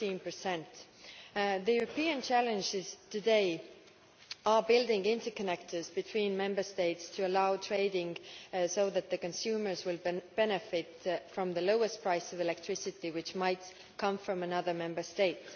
15. The European challenge is today building interconnectors between Member States to allow trading so that consumers will benefit from the lowest price for electricity, which might come from another Member State.